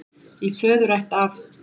Í föðurætt af